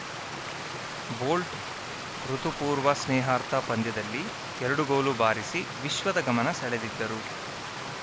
bolt ಋತು ಪೂರ್ವ ಸ್ನೇಹಾರ್ಥ ಪಂದ್ಯದಲ್ಲಿ ಎರಡು ಗೋಲು ಬಾರಿಸಿ ವಿಶ್ವದ ಗಮನ ಸೆಳೆದಿದ್ದರು